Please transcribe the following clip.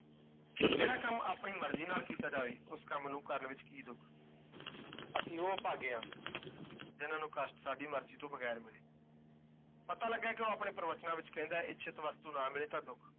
ਜਿਹੜਾ ਕੰਮ ਆਪਣੀ ਮਰਜ਼ੀ ਨਾਲ ਕੀਤਾ ਜਾਵੇ, ਉਸ ਕੰਮ ਨੂੰ ਕਰਨ ਵਿਚ ਕੀ ਦੁੱਖ ਅਸੀਂ ਉਹ ਅਭਾਗੇ ਹਾਂ ਜਿਨ੍ਹਾਂ ਨੂੰ ਕਸ਼ਟ ਸਾਡੀ ਮਰਜ਼ੀ ਤੋਂ ਬਗੈਰ ਮਿਲੇ ਪਤਾ ਲੱਗਾ ਹੈ ਕਿ ਉਹ ਆਪਣੇ ਪ੍ਰਬਚਨਾ ਵਿਚ ਕਹਿੰਦਾ ਹੈ ਇੱਛਤ ਵਸਤੂ ਨਾ ਮਿਲੇ ਤਾਂ ਦੁੱਖ